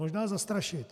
Možná zastrašit.